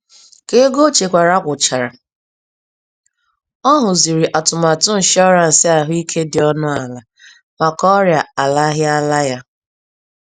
Ka ego o chekwara gwụchara, ọ hụziri atụmatụ nshọransị ahụike dị ọnụ àlà, maka ọrịa alaghịala ya.